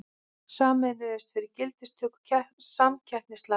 Sameinuðust fyrir gildistöku samkeppnislaga